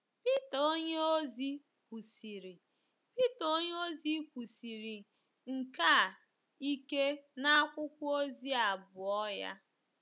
Pita onyeozi kwusiri Pita onyeozi kwusiri nke a ike n’akwụkwọ ozi abụọ ya.